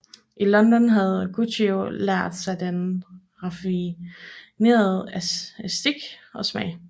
I London havde Guccio lært sig den raffinerede æstetik og smag